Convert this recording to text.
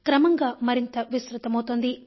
క్రమంగా మరింత విస్తృతమవుతోంది